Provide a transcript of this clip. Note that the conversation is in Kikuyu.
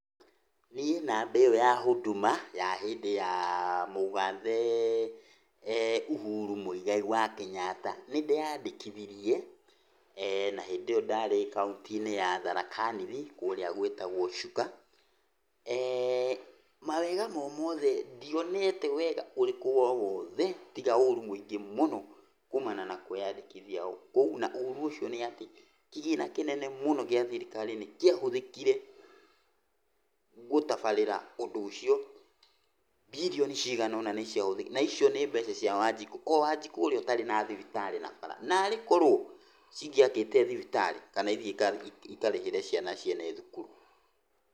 Niĩ namba ĩyo ya Huduma, ya hĩndĩ ya mũgathe Uhuru Mũigai wa Kĩnyatta, nĩ ndeyandĩkithirie na hĩndĩ ĩyo ndarĩ kaũntĩ-inĩ ya Tharaka Nithi kũrĩa gwĩtagwo Chuka. Mawega o mothe ndionete wega ũrĩkũ o wothe, tiga ũru mũingĩ mũno kuumana na kũĩyandĩkithia o kũu. Na ũru ũcio nĩ atĩ, kĩgĩna kĩnene mũno gĩa thirikari nĩ kĩahũthĩkire gũtabarĩra ũndũ ũcio, mbirioni cigana ona nĩciahũthĩkire, naicio nĩ mbeca cia Wanjikũ, o Wanjiku ũrĩa ũtarĩ na thibitarĩ narĩ bara. Narĩkorwo ! Cingĩakĩte thibitarĩ, kana ithiĩ ikarĩhĩre ciana ciene thukuru.